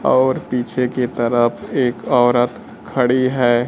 और पीछे की तरफ एक औरत खड़ी है।